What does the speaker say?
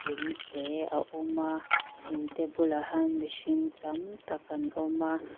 in te a awm a in te bulah hian mihring tam tak an awm a.